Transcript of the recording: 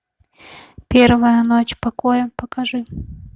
первая ночь покоя покажи